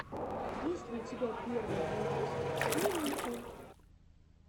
есть ли у тебя первый выпуск нимихо